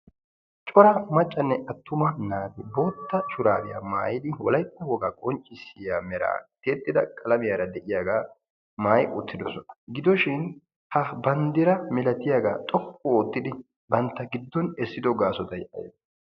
Cora maccanne attumma naati bootta shuraabiyaa maayiddi wolaytta wogga qoncissiya meraa tiyettidda qallamiyaara de'yaagga maayi uttidosona, gidoshin ha bandira malattiyagga xooqqu oottiddi bantta giddon esiddo gaassottay ayibbe?